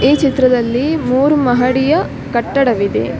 ಈ ಚಿತ್ರದಲ್ಲಿ ಮೂರು ಮಹಡಿಯ ಕಟ್ಟಡವಿದೆ .